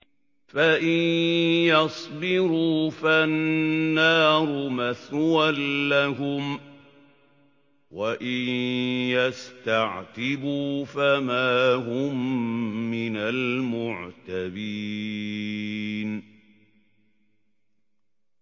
فَإِن يَصْبِرُوا فَالنَّارُ مَثْوًى لَّهُمْ ۖ وَإِن يَسْتَعْتِبُوا فَمَا هُم مِّنَ الْمُعْتَبِينَ